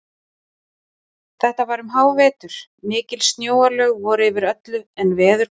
Þetta var um hávetur, mikil snjóalög voru yfir öllu en veður gott.